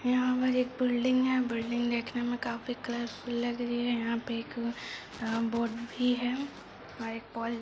यहा पर एक बिल्डिंग है बिल्डिंग देखने में काफी कलरफुल लग रही है यहा पे एक आ बोर्ड भी है और एक पोल --